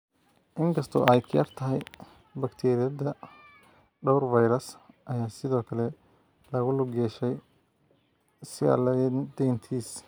In kasta oo ay ka yar tahay bakteeriyada, dhowr fayras ayaa sidoo kale lagu lug yeeshay sialadenitis.